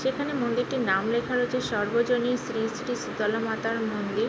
যেখানে মন্দিরটির নাম লেখা রয়েছে সর্বজনীন শ্রী শ্রী শীতলা মাতার মন্দির।